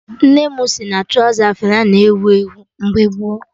Nne m si na trọza flay na ewu ewu mgbe gboo